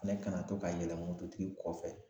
Ne kana to ka yɛlɛ mototigi kɔfɛ